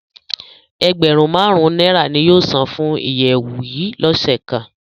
Ẹgbẹrun màrun naira ni yóò san fun iyẹwu yii lọse kan